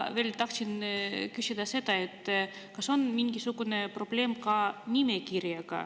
Veel tahtsin küsida seda, kas on mingisugune probleem ka nimega.